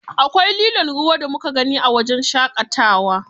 Akwai lilon ruwa da muka gani a wajen shaƙayawa.